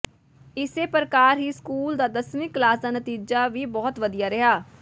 ਇਸੇ ਪ੍ਰਕਾਰ ਹੀ ਸਕੂਲ ਦਾ ਦਸਵੀਂ ਕਲਾਸ ਦਾ ਨਤੀਜਾ ਵੀ ਬਹੁਤ ਵਧੀਆ ਰਿਹਾ